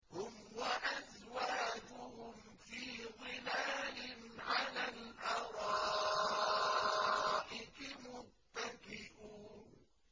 هُمْ وَأَزْوَاجُهُمْ فِي ظِلَالٍ عَلَى الْأَرَائِكِ مُتَّكِئُونَ